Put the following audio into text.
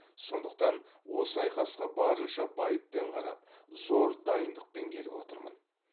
сондықтан осы айқасқа барынша байыппен қарап зор дайындықпен келіп отырмын